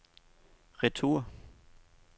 retur